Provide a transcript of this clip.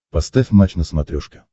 поставь матч на смотрешке